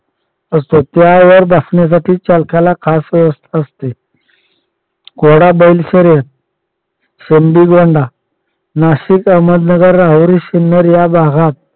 असतो त्यावर बसण्यासाठी चालकाला खास व्यवस्था असते. घोडा बैल शर्यत सिंधी गोंडा नाशिक अहमदनगरावरील सिन्नर या भागात